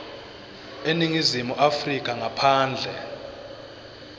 eningizimu afrika ngaphandle